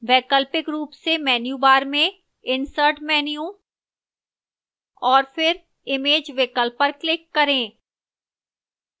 वैकल्पिक रूप से menu bar में insert menu और फिर image विकल्प पर click करें